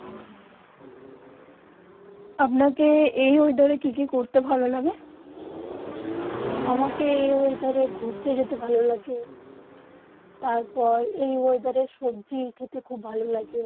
আপনা কে যেই ওয়েদার কি কি করতে ভালো লাগে